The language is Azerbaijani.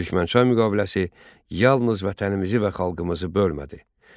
Türkmənçay müqaviləsi yalnız vətənimizi və xalqımızı bölmədi.